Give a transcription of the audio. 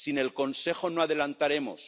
Sin el Consejo no adelantaremos.